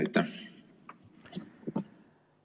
Aitäh!